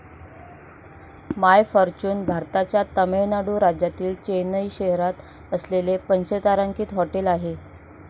माय Fortune भारताच्या तामिळनाडू राज्यातील चेन्नई शहरात असलेले पंचतारांकित हॉटेल आहे.